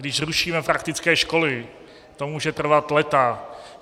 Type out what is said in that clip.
Když zrušíme praktické školy, to může trvat léta.